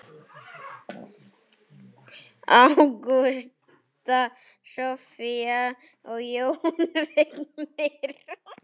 Ágústa, Soffía og Jón Vignir.